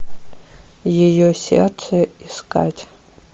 ее сердце искать